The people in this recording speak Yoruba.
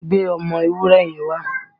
Gbé ọmọ ewúré yẹn wá!